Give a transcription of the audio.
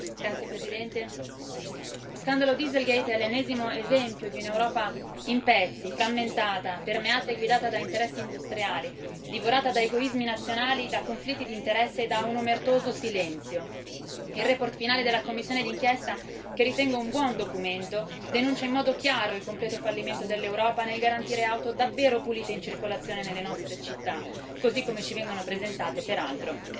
Signor Presidente, onorevoli colleghi, lo scandalo Dieselgate è l'ennesimo esempio di un'Europa in pezzi, frammentata, permeata e guidata da interessi industriali, divorata da egoismi nazionali, da conflitti di interesse e da un omertoso silenzio. La relazione finale della commissione di inchiesta, che ritengo un buon documento, denuncia in modo chiaro il completo fallimento dell'Europa nel garantire auto davvero pulite in circolazione nelle nostre città, così come ci vengono presentate peraltro